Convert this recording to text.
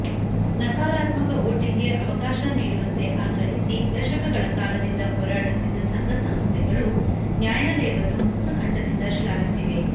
ನಕಾರಾತ್ಮಕ ವೋಟಿಂಗ್ಗೆ ಅವಕಾಶ ನೀಡುವಂತೆ ಆಗ್ರಹಿಸಿ ದಶಕಗಳ ಕಾಲದಿಂದ ಹೋರಾಡುತ್ತಿದ್ದ ಸಂಘ ಸಂಸ್ಥೆಗಳೂ ನ್ಯಾಯಾಲಯವನ್ನು ಮುಕ್ತಕಂಠದಿಂದ ಶ್ಲಾಘಿಸಿವೆ